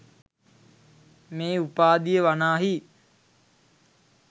මේ උපාධිය වනාහි